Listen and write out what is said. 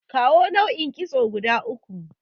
Kawo naau'in kitso guda uku?